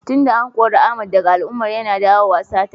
Tun da an kore Ahmed daga al'umman, yana dawowa sata.